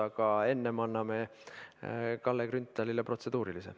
Aga enne anname sõna Kalle Grünthalile, tal on protseduuriline.